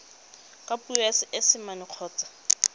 ka puo ya seesimane kgotsa